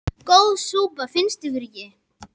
Góð súpa, finnst ykkur það ekki?